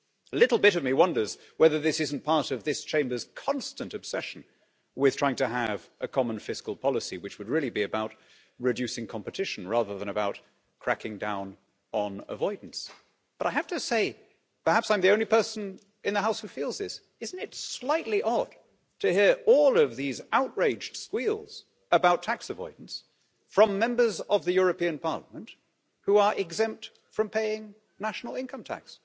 A little bit of me wonders whether this isn't part of this Chamber's constant obsession with trying to have a common fiscal policy, which would really be about reducing competition rather than about cracking down on avoidance. But I have to say perhaps I'm the only person in the House who feels this isn't it slightly odd to hear all of these outraged squeals about tax avoidance from Members of the European Parliament, who are exempt from paying national income tax?